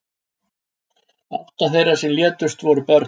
Átta þeirra sem létust voru börn